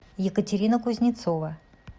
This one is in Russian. екатерина кузнецова